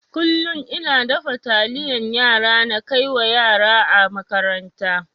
Kullun ina dafa taliyan yara na kaiwa yara a makaranta.